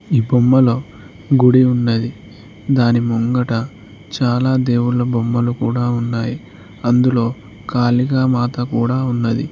ఈ బొమ్మలొ గుడి ఉన్నది దాని ముంగట చాలా దేవుళ్ళ బొమ్మలు కూడా ఉన్నాయి అందులో ఖాళీగ మాత కూడా ఉన్నది.